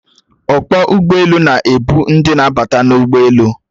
Ọkpọ ụgbọelu na-ebu ndị na-abata n'ụgbọelu